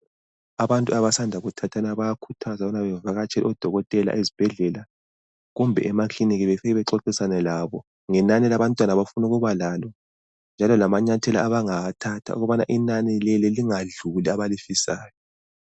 Abantu abasanda kuthathana bayakhuthazwa ukubana bevakatshele odokotela ezibhedlela kumbe emakilinika befike bexoxisana labo ngenani labantwana abafuna ukubalabo njalo kamanyathelo abangawathatha ukubana inani lelo lingadluli abalifisayo.